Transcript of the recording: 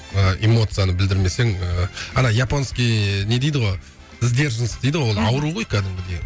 ы эмоцияны білдірмесең ыыы ана японский не дейді ғой сдержанность дейді ғой ол ауру ғой кәдімгідей